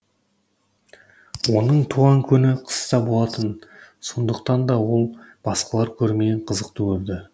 оның туған күні қыста болатын сондықтан да ол басқалар көрмеген қызықты көрді